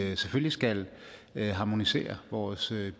at vi selvfølgelig skal harmonisere vores